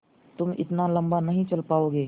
तुम इतना लम्बा नहीं चल पाओगे